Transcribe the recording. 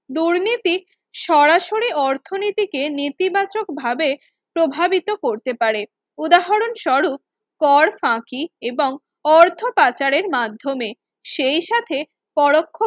দুর্নীতি সরাসরি অর্থনীতিকে নেতিবাচক ভাবে প্রভাবিত করতে পারে উদাহরণ স্বরূপ কর ফাঁকি এবং অর্থ পাচারের মাধ্যমে সেই সাথে পরোক্ষ